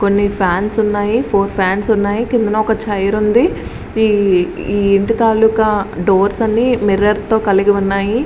కొన్ని ఫాన్స్ ఉన్నాయి four fans ఉన్నాయి కిందన చైర్ ఉంది ఈ ఇంటి తాలూకా డోర్స్ అన్ని మిర్రర్స్ తో కలిగి ఉన్నాయి.